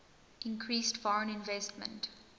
increased foreign investment